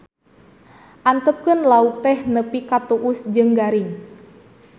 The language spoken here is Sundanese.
Antepkeun lauk teh nepi ka tuus jeung garing